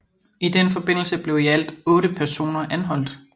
I den forbindelse blev i alt otte personer anholdt